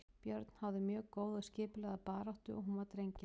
Björn háði mjög góða og skipulagða baráttu og hún var drengileg.